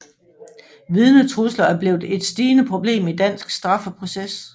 Vidnetrusler er blevet et stigende problem i dansk straffeproces